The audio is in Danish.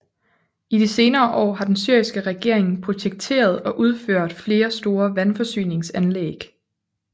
I de senere år har den syriske regering projekteret og udført flere store vandforsyningsanlæg